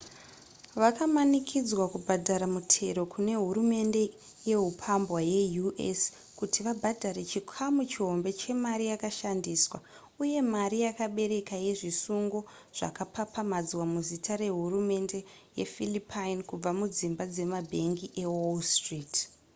vakamanikidzwa kubhadhara mutero kune hurumende yehupambwa yeu.s kuti vabhadhare chikamu chihombe chemari yakashandiswa uye mari yakabereka yezvisungo zvakapapamadzwa muzita rehurumende yephilippine kubva mudzimba dzemabhengi ewall street